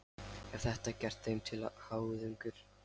Er þetta gert þeim til háðungar?